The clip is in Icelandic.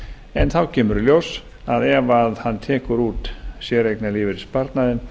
en þá kemur í ljós að ef hann tekur út séreignarlífeyrissparnaðinn